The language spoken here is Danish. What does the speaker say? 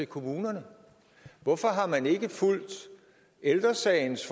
kommunerne hvorfor har man ikke fulgt ældre sagens